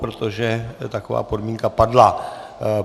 Protože taková podmínka padla.